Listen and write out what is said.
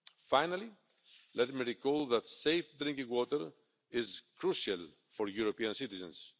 Finally let me recall that safe drinking water is crucial for European citizens.